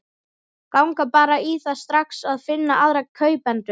Ganga bara í það strax að finna aðra kaupendur.